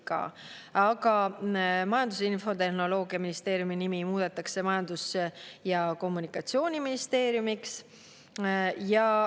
Aga Majandus- ja Infotehnoloogiaministeeriumi Majandus- ja Kommunikatsiooniministeerium.